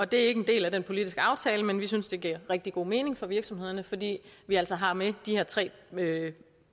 det er ikke en del af den politiske aftale men vi synes det giver rigtig god mening for virksomhederne fordi vi altså har med de her tre